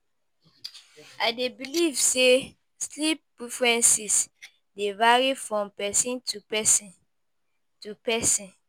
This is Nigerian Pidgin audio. I dey believe say sleep preferences dey vary from person to person to person